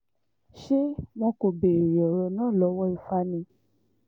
ṣé wọn kò béèrè ọ̀rọ̀ náà lọ́wọ́ ifá ni